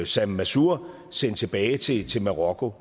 sam mansour sendt tilbage til til marokko